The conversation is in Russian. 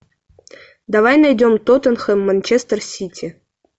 давай найдем тоттенхэм манчестер сити